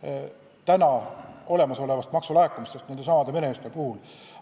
kui võtta aluseks olemasolevad maksulaekumised nende meremeeste palgalt.